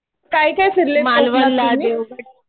काय काय फिरले कोकणात तुम्ही?